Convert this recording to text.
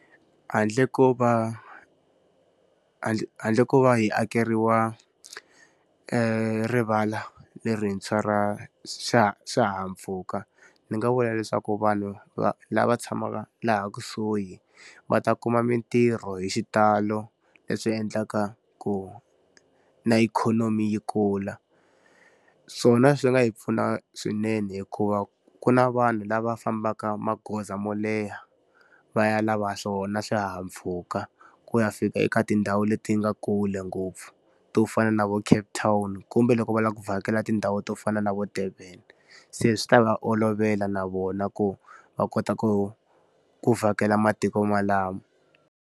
Handle ko va handle handle ko va hi akeriwa rivala lerintshwa ra swihahampfhuka, ni nga vula leswaku vanhu lava tshamaka laha kusuhi va ta kuma mintirho hi xitalo leswi endlaka ku na ikhonomi yi kula. Swona swi nga hi pfuna swinene hikuva ku na vanhu lava fambaka magoza mo leha va ya lava swona swihahampfhuka ku ya fika eka tindhawu leti nga kule ngopfu to fana na vo Cape Town kumbe loko va lava ku vhakela tindhawu to fana na vo Durban. Se swi ta va olovela na vona ku va kota ku ku vhakela matiko malamo.